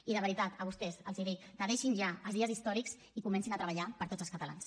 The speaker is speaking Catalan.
i de veritat a vostès els dic que deixin ja els dies històrics i comencin a treballar per tots els catalans